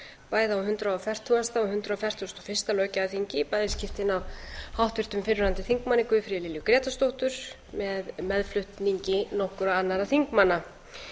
á hundrað fertugasta og hundrað fertugasta og fyrsta löggjafarþingi í bæði skiptin af háttvirtum fyrrverandi þingmanni guðfríði lilju grétarsdóttur með meðflutningi nokkurra annarra þingmanna